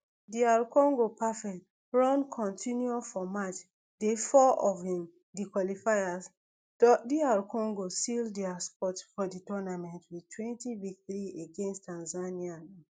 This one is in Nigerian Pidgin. dr congo perfect run continue for match day four of um di qualifiers dr congo seal dia spot for di tournament wit twenty victory against tanzania